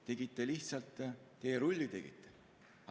Tegite lihtsalt teerulli.